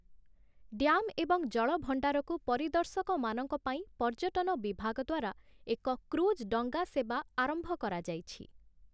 Dam ଏବଂ ଜଳଭଣ୍ଡାରକୁ ପରିଦର୍ଶକମାନଙ୍କ ପାଇଁ ପର୍ଯ୍ୟଟନ ବିଭାଗ ଦ୍ୱାରା ଏକ କ୍ରୁଜ୍ ଡଙ୍ଗା ସେବା ଆରମ୍ଭ କରାଯାଇଛି ।